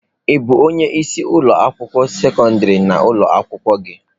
Ị bụ onye isi ụlọ akwụkwọ sekọndrị na ụlọ akwụkwọ gị?